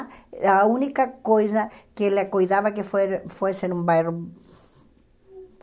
E era a única coisa que ele cuidava que fue fosse num bairro